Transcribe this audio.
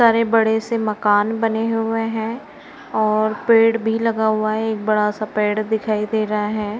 सारे बड़े से मकान बने हुए हैं और पेड़ भी लगा हुआ है एक बड़ा सा पेड़ दिखाई दे रहा है।